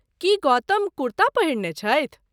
की गौतम कुर्ता पहिरने छथि।